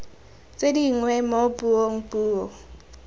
tse dingwe mo puong puo